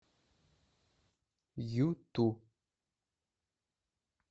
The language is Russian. юту